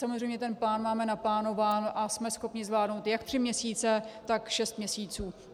Samozřejmě ten plán máme naplánován a jsme schopni zvládnout jak tři měsíce, tak šest měsíců.